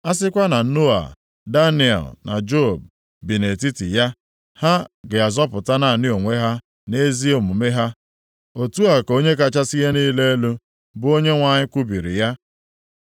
a sịkwa na Noa, Daniel na Job bi nʼetiti ya, ha ga-azọpụta naanị onwe + 14:14 Ya bụ, mkpụrụobi ha ha nʼezi omume ha. Otu a ka Onye kachasị ihe niile elu, bụ Onyenwe anyị kwubiri ya.